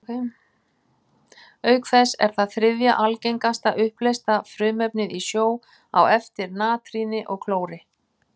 Auk þess er það þriðja algengasta uppleysta frumefnið í sjó, á eftir natríni og klóri.